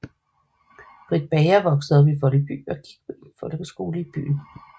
Britt Bager voksede op i Voldby og gik i en folkeskole i byen